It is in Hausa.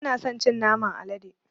Ba na son cin naman alade.